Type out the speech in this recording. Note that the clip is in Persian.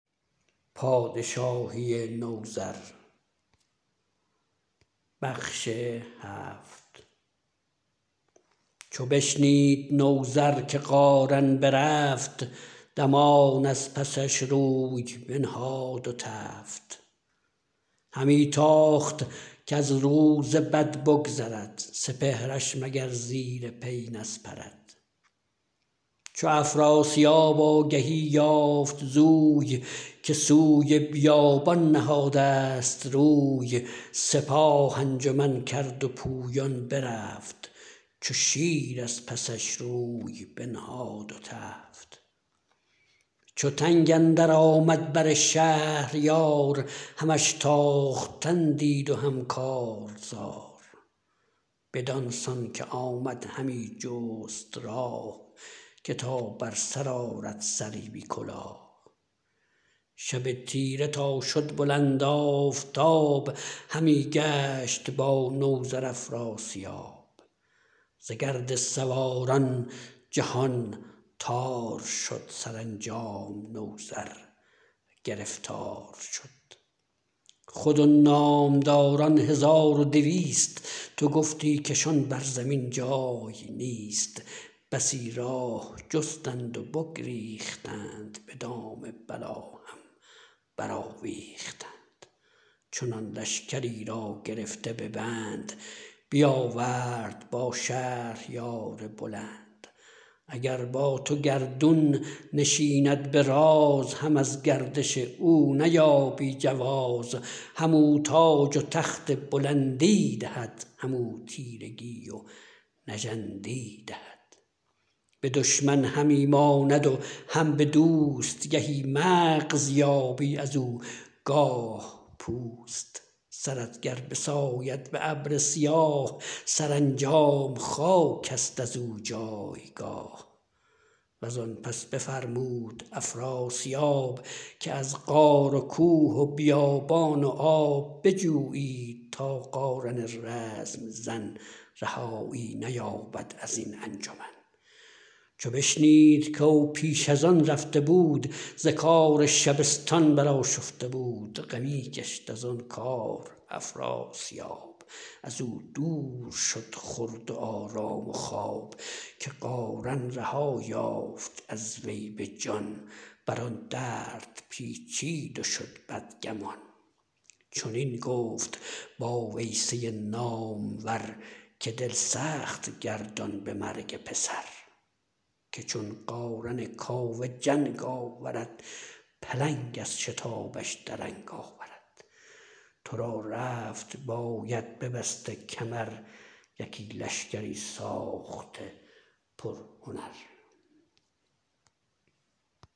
چو بشنید نوذر که قارن برفت دمان از پسش روی بنهاد و تفت همی تاخت کز روز بد بگذرد سپهرش مگر زیر پی نسپرد چو افراسیاب آگهی یافت زوی که سوی بیابان نهادست روی سپاه انجمن کرد و پویان برفت چو شیر از پسش روی بنهاد و تفت چو تنگ اندر آمد بر شهریار همش تاختن دید و هم کارزار بدان سان که آمد همی جست راه که تا بر سر آرد سری بی کلاه شب تیره تا شد بلند آفتاب همی گشت با نوذر افراسیاب ز گرد سواران جهان تار شد سرانجام نوذر گرفتار شد خود و نامداران هزار و دویست تو گفتی کشان بر زمین جای نیست بسی راه جستند و بگریختند به دام بلا هم برآویختند چنان لشکری را گرفته به بند بیاورد با شهریار بلند اگر با تو گردون نشیند به راز هم از گردش او نیابی جواز همو تاج و تخت بلندی دهد همو تیرگی و نژندی دهد به دشمن همی ماند و هم به دوست گهی مغز یابی ازو گاه پوست سرت گر بساید به ابر سیاه سرانجام خاک است ازو جایگاه وزان پس بفرمود افراسیاب که از غار و کوه و بیابان و آب بجویید تا قارن رزم زن رهایی نیابد ازین انجمن چو بشنید کاو پیش ازان رفته بود ز کار شبستان برآشفته بود غمی گشت ازان کار افراسیاب ازو دور شد خورد و آرام و خواب که قارن رها یافت از وی به جان بران درد پیچید و شد بدگمان چنین گفت با ویسه نامور که دل سخت گردان به مرگ پسر که چون قارن کاوه جنگ آورد پلنگ از شتابش درنگ آورد ترا رفت باید ببسته کمر یکی لشکری ساخته پرهنر